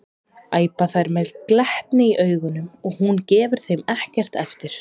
æpa þær með glettni í augunum og hún gefur þeim ekkert eftir.